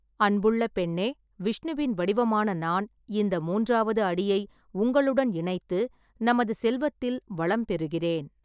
அன்புள்ள பெண்ணே, விஷ்ணுவின் வடிவமான நான், இந்த மூன்றாவது அடியை உங்களுடன் இணைத்து, நமது செல்வத்தில் வளம் பெறுகிறேன்.